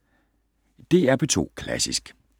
DR P2 Klassisk